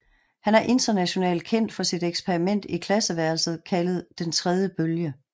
Han er internationalt kendt for sit eksperiment i klasseværelset kaldet Den tredje bølge